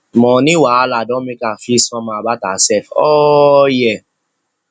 money wahala don make her feel somehow about herself all year